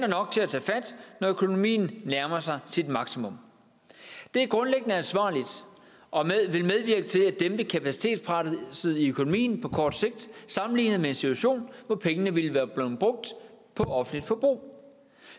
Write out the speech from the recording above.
nok til at tage fat når økonomien nærmer sig sit maksimum det er grundlæggende ansvarligt og vil medvirke til at dæmpe kapacitetspresset i økonomien på kort sigt sammenlignet med en situation hvor pengene ville være blevet brugt på offentligt forbrug